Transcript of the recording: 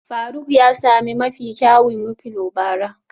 Faruk ya sami mafi kyawun wikliow bara